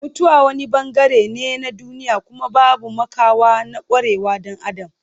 Mutuwa wani bangare ne na duniya kuma babu makawa na kwarewar dan Adam.